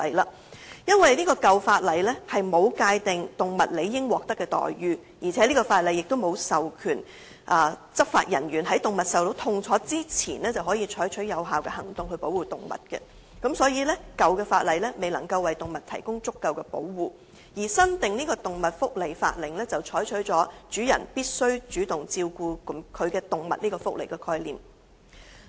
由於舊有法例沒有界定動物應獲得的待遇，亦沒有授權執法人員在動物受到痛楚之前，可採取有效的行動來保護動物，所以舊有法例未能為動物提供足夠的保護，但新訂的《動物福祉法令》則採取了主人必須主動照顧其動物這個福利概念。